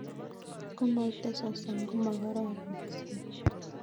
Kotko moite sosom komokororon keswek